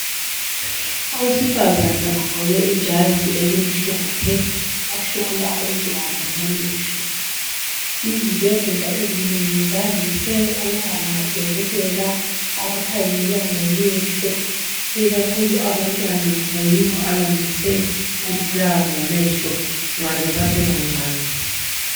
Owesifazana ogqoke ijazi elimhlophe ohlola umntwana amehlo. Izibhedlela ezinengi zandise ukuba labodokotela abakhangela ngamehlo ikakhulu abantwana ngoba yibo abandise ukubulawa ngamehlo nxa besese bancane.